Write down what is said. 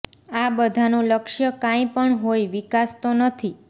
આ બધાનું લક્ષ્ય કાંઈ પણ હોય વિકાસ તો નથી